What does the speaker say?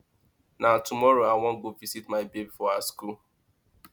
na tomorrow i wan go visit my babe for her skool